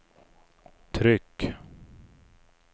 tryck